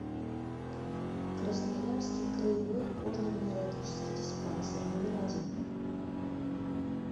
красноярский краевой кожно венерологический диспансер номер один